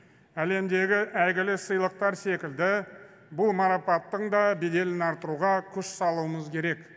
әлемдегі әйгілі сыйлықтар секілді бұл марапаттың да беделін арттыруға күш салуымыз керек